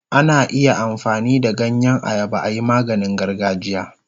Ana iya amfani da ganyen ayaba ayi maganin gargajiya.